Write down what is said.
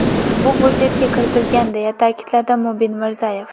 Bu budjetga kiritilgan”, deya ta’kidladi Mubin Mirzayev.